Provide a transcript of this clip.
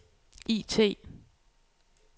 IT